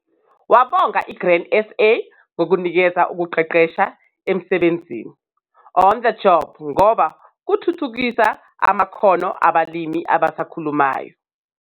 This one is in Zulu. Wabonga iGrain SA ngokunikeza ukuqeqesha emsebenzini, on-the-job, ngoba kuthuthukisa amakhono abalimi abasakhulayo.